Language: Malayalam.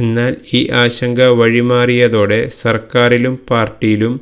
എന്നാല് ഈ ആശങ്ക വഴി മാറിയതോടെ സര്ക്കാറിലും പാര്ട്ടിയിലും